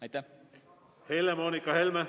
Aitäh, hea eesistuja!